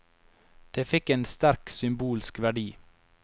Det fikk en sterk symbolsk verdi.